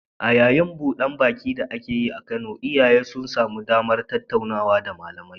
A yayin buda baki da aka yi a Kano, iyaye sun samu damar tattaunawa da malamai